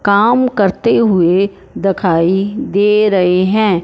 काम करते हुए दिखाई दे रहे हैं।